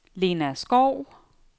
Lena Skov